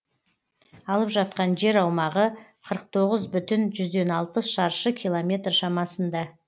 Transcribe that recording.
алып жатқан жер аумағы қырық тоғыз бүтін жүзден алпыс шаршы километр шамасында